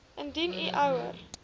indien u ouer